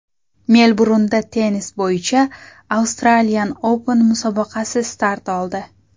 Melburnda tennis bo‘yicha Australian Open musobaqasi start oldi.